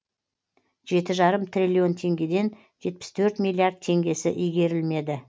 жеті жарым триллион теңгеден жетпіс төрт миллиард теңгесі игерілмеді